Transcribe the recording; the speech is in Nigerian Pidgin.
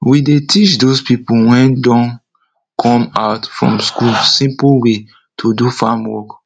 we dey teach dos pipo wey don come out from school simple way to do farm work